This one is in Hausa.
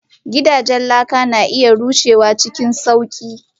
Gidajen laka na iya rushewa cikin sauƙi.